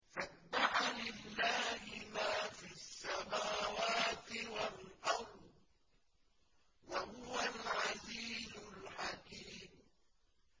سَبَّحَ لِلَّهِ مَا فِي السَّمَاوَاتِ وَالْأَرْضِ ۖ وَهُوَ الْعَزِيزُ الْحَكِيمُ